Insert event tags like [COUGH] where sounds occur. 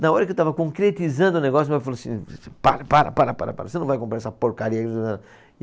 Na hora que eu estava concretizando o negócio, meu pai falou assim, para, para, para, para, para, você não vai comprar essa porcaria. [UNINTELLIGIBLE]